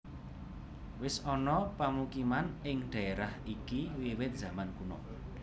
Wis ana pamukiman ing dhaérah iki wiwit zaman kuna